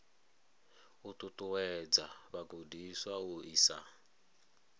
u ṱuṱuwedza vhagudiswa u isa